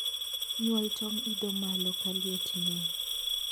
nyuol tong idho malo ka liet ngeny